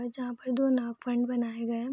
और जहां पर दो नाग फन बनाए गए हैं।